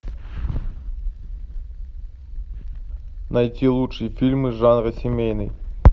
найти лучшие фильмы жанра семейный